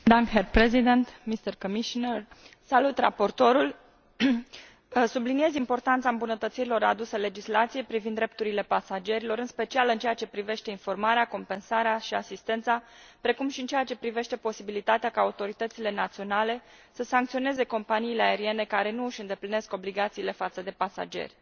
Domnule președinte, subliniez importanța îmbunătățirilor aduse legislației privind drepturile pasagerilor, în special în ceea ce privește informarea, compensarea și asistența, precum și în ceea ce privește posibilitatea ca autoritățile naționale să sancționeze companiile aeriene care nu și îndeplinesc obligațiile față de pasageri.